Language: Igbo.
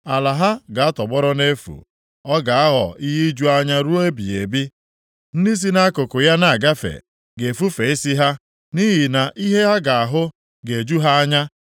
Ala ha ga-atọgbọrọ nʼefu. Ọ ga-aghọ ihe iju anya ruo ebighị ebi. Ndị si nʼakụkụ ya na-agafe ga-efufe isi ha, nʼihi na ihe ha ga-ahụ ga-eju ha anya.